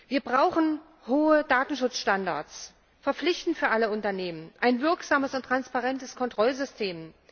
Wir brauchen hohe Datenschutzstandards, verpflichtend für alle Unternehmen, ein wirksames und transparentes Kontrollsystem.